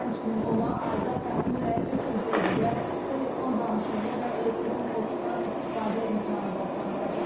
Həmçinin ona ayda təxminən 300 dəqiqə telefon danışığı və elektron poçtdan istifadə imkanı da tanınacaq.